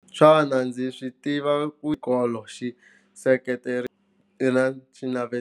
Xana ndzi swi tiva ku xikolo xi seketelo na xinatiso.